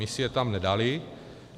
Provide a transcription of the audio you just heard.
My si je tam nedali.